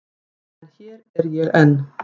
En hér er ég enn.